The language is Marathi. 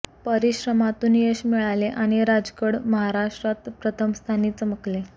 परिश्रमातून यश मिळाले आणि राजगड महाराष्ट्रात प्रथम स्थानी चमकले